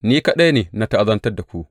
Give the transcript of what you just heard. Ni kaɗai ne na ta’azantar da ku.